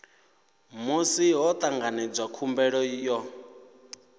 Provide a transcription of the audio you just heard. musi ho tanganedzwa khumbelo yo